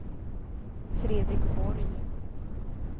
Fredrik Borg